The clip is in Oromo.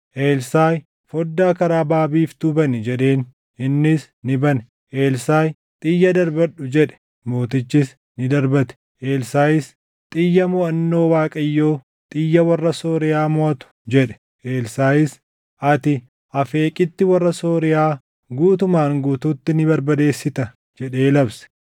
Elsaaʼi, “Foddaa karaa baʼa biiftuu bani” jedheen; innis ni bane. Elsaaʼi, “Xiyya darbadhu!” jedhe; mootichis ni darbate. Elsaaʼis, “Xiyya moʼannoo Waaqayyoo, xiyya warra Sooriyaa moʼatu!” jedhe. Elsaaʼis, “Ati Afeeqitti warra Sooriyaa guutumaan guutuutti ni barbadeessita” jedhee labse.